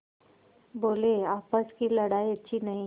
बोलेआपस की लड़ाई अच्छी नहीं